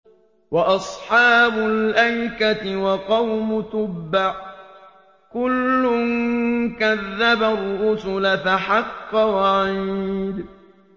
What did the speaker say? وَأَصْحَابُ الْأَيْكَةِ وَقَوْمُ تُبَّعٍ ۚ كُلٌّ كَذَّبَ الرُّسُلَ فَحَقَّ وَعِيدِ